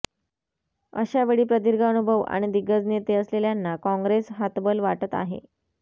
अशावेळी प्रदीर्घ अनुभव आणि दिग्गज नेते असलेल्यांना काँग्रेस हतबल वाटत आहे